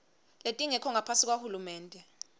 letingekho ngaphasi kwahulumende